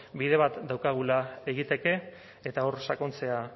bide bat daukagula egiteke eta hor sakontzea